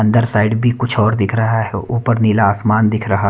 अंदर साइड भी कुछ और दिख रहा है ऊपर नीला आसमान दिख रहा --